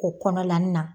O kɔnɔna na